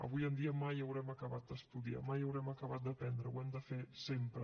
avui en dia mai haurem acabat d’estudiar mai haurem acabat d’aprendre ho hem de fer sempre